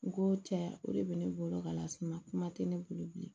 U ko cɛ ya o de bɛ ne bolo ka las'i ma kuma tɛ ne bolo bilen